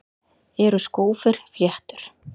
Eru skófir fléttur?